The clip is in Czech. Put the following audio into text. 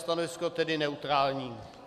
Stanovisko tedy neutrální.